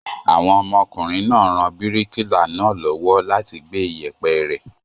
Àwọn ọmọkùnrin ra bíríkìlà náà lọ́wọ́ láti gbé ìyẹ̀pẹ̀ rẹ̀.